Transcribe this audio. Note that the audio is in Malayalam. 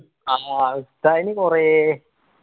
ആ ഉസ്താദിന് കൊറേ